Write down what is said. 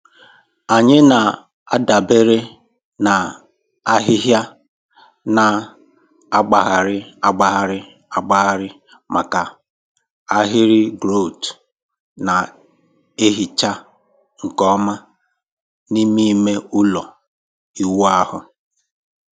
Anyị na-adabere na ahịhịa na-agbagharị agbagharị agbagharị maka ahịrị grout na-ehicha nke ọma n'ime ime ụlọ ịwụ ahụ.